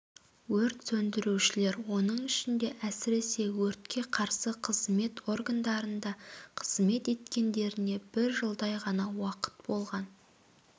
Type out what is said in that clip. өрт сөндірушілер оның ішінде әсіресе өртке қарсы қызмет органдарында қызмет еткендеріне бір жылдай ғана уақыт болған